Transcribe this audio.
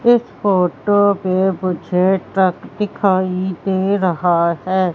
इस फोटो मे मुझे ट्रक दिखाई दे रहा है।